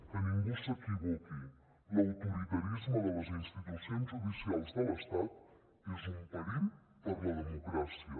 que ningú s’equivoqui l’autoritarisme de les institucions judicials de l’estat és un perill per a la democràcia